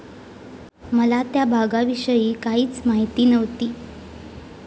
मला त्या भागाविषयी काहीच माहिती नव्हती.